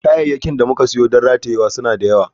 Kayayyakin da muka siyo don ratayewa suna da yawa.